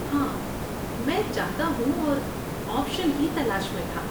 ہاں، میں چاہتا ہوں اور آپشن کی تلاش میں تھا۔